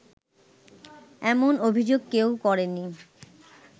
এমন অভিযোগ কেউ করেনি